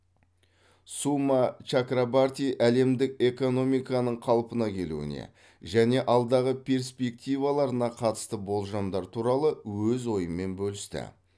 сума чакрабарти әлемдік экономиканың қалпына келуіне және алдағы перспективаларына қатысты болжамдар туралы өз ойымен бөлісті